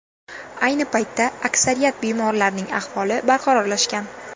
Ayni paytda aksariyat bemorlarning ahvoli barqarorlashgan.